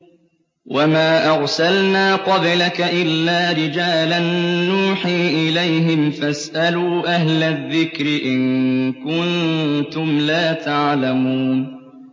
وَمَا أَرْسَلْنَا قَبْلَكَ إِلَّا رِجَالًا نُّوحِي إِلَيْهِمْ ۖ فَاسْأَلُوا أَهْلَ الذِّكْرِ إِن كُنتُمْ لَا تَعْلَمُونَ